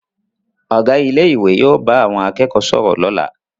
Ọ̀gá ilé ìwé yóò bá àwọn akẹ́kọ̀ọ́ sọ̀rọ̀ lọ́la